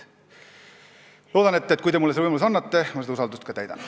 Loodan, et kui te mulle selle võimaluse annate, siis ma seda usaldust ka täidan.